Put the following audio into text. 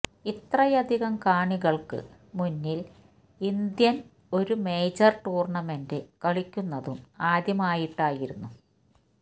ഇത്രയധികം കാണികള്ക്ക് മുന്നില് ഇന്ത്യന് ഒരു മേജര് ടൂര്ണ്ണമെന്റ് കളിക്കുന്നതും ആദ്യമായിട്ടായിരുന്നു